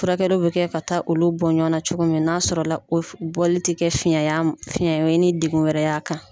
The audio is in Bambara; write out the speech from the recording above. Furakɛluw bɛ kɛ ka taa olu bɔn ɲɔgɔnna cogo min n'a sɔrɔ o bɔli tɛ kɛ fiɲ'a fiɲɛ ye ni de kun wɛrɛ ye a kan.